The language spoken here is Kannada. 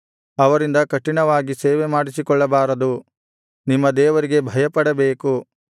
ಅವರಿಂದ ಕಠಿಣವಾಗಿ ಸೇವೆಮಾಡಿಸಿಕೊಳ್ಳಬಾರದು ನಿಮ್ಮ ದೇವರಿಗೆ ಭಯಪಡಬೇಕು